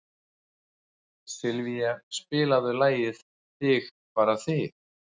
Sylvía, spilaðu lagið „Þig bara þig“.